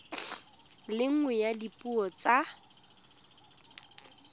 le nngwe ya dipuo tsa